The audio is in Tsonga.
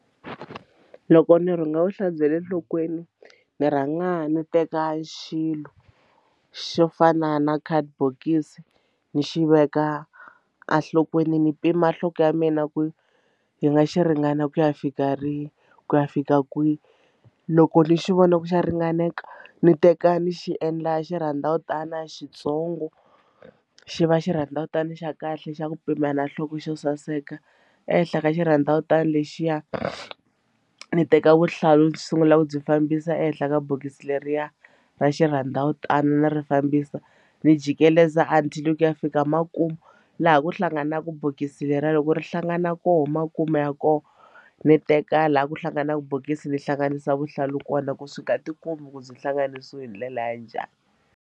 Loko ni rhunga vuhlalu bya le enhlokweni ni rhanga ni teka xilo xo fana na khadibokisi ni xi veka enhlokweni ni pima nhloko ya mina ku yi nga xi ringana ku ya fika rini ku ya fika kwihi loko ni xi vona ku xa ringaneka ni teka ni xi endla xirhandzavutana xitsongo xi va xirhandzavutani xa kahle xa ku pimela nhloko xo saseka ehenhla ka xirhandzavutani lexiya ndzi teka vuhlalu ndzi sungula ku byi fambisa ehenhla ka bokisi leriya ra xirhandzavutano ni ri fambisa ni jikeleza until ku ya fika makumu laha ku hlanganaku bokisi leriya loko ri hlangana koho makumu ya koho ni teka laha ku hlanganaka bokisi ni hlanganisa vuhlalu kona ku swi nga ti kombi ku byi hlanganisiwe hi ndlela ya njhani.